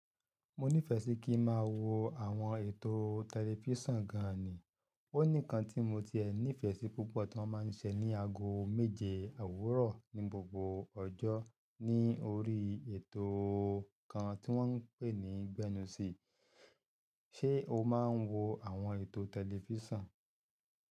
Mo nífẹẹ sí kí máa wo àwọn ètò tẹlifísàn gan-an ni, ó ní kan tí mo ti ẹ ní ìfẹ́ sí púpọ̀ tí wọ́n máa ń ṣe ní ago méje owúrọ̀ ní gbogbo ọjọ́ ní orí ètò kan tí wọ́n ń pè ní Gbẹ́nusì. Ṣé o máa ń wo àwọn ètò tẹlifísàn?